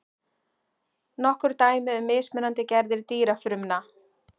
nokkur dæmi um mismunandi gerðir dýrafrumna